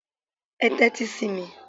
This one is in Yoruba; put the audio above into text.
Ẹ tẹ́tí sí mi!